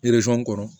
kɔrɔ